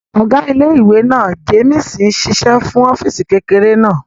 Ọ̀gá ilé-ìwé náà, Jémìsì n ṣiṣẹ́ nínú ọ́fìsì kékeré náà